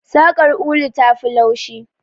Saƙar ulu tafi laushi.